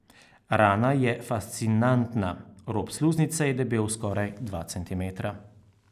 Rana je fascinantna, rob sluznice je debel skoraj dva centimetra.